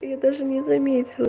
я даже не заметила